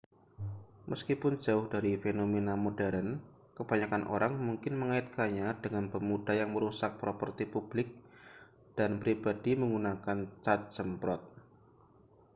meskipun jauh dari fenomena modern kebanyakan orang mungkin mengaitkannya dengan pemuda yang merusak properti publik dan pribadi menggunakan cat semprot